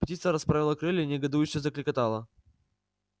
птица расправила крылья и негодующе заклекотала